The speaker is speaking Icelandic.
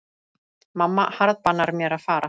Mamma harðbannar mér að fara.